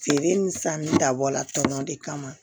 Feere ni sanni dabɔla tɔnɔ de kama